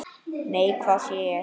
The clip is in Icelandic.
Nei, hvað sé ég!